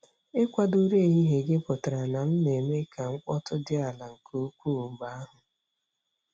Ikwado ụra ehihie gị pụtara na m na-eme ka mkpọtụ dị ala nke ukwuu mgbe ahụ.